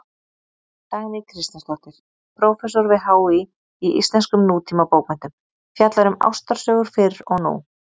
Dagný Kristjánsdóttir, prófessor við HÍ í íslenskum nútímabókmenntum, fjallar um ástarsögur fyrr og nú.